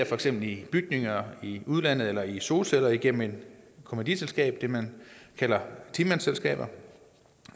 for eksempel i bygninger i udlandet eller i solceller igennem et kommanditselskab det man kalder ti mandsselskaber